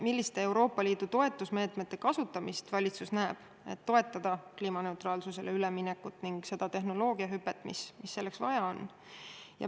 Milliste Euroopa Liidu toetusmeetmete kasutamist valitsus näeb, et toetada kliimaneutraalsusele üleminekut ning seda tehnoloogiahüpet, mis selleks vaja on?